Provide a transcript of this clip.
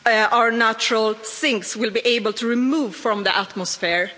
gas our natural sinks will be able to remove from the atmosphere.